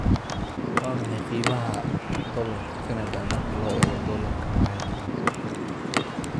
waa maxay qiimaha Doolarka Kanada marka loo eego Doolarka Maraykanka